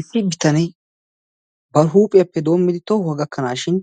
Issi bitanee ba huuphphiyaappe doommidi tohuwaa gakkanashin